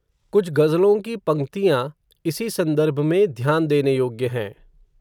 कुछ गज़लों की पंक्तियाँ, इसी सन्दर्भ में, ध्यान देने योग्य हैं